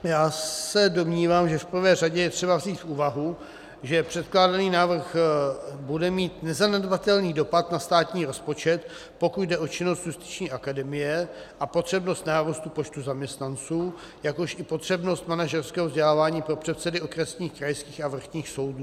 Já se domnívám, že v prvé řadě je třeba vzít v úvahu, že předkládaný návrh bude mít nezanedbatelný dopad na státní rozpočet, pokud jde o činnost Justiční akademie a potřebnost nárůstu počtu zaměstnanců, jakož i potřebnost manažerského vzdělávání pro předsedy okresních, krajských a vrchních soudů.